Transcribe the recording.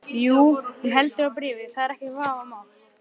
Ef menn gátu ekki borgað var klippt á þá.